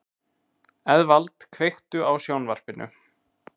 Eðvald, kveiktu á sjónvarpinu.